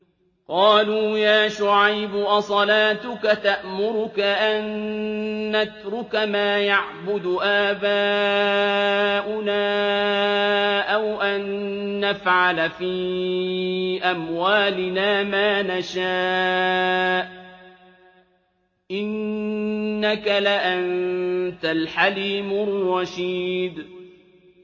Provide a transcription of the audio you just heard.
قَالُوا يَا شُعَيْبُ أَصَلَاتُكَ تَأْمُرُكَ أَن نَّتْرُكَ مَا يَعْبُدُ آبَاؤُنَا أَوْ أَن نَّفْعَلَ فِي أَمْوَالِنَا مَا نَشَاءُ ۖ إِنَّكَ لَأَنتَ الْحَلِيمُ الرَّشِيدُ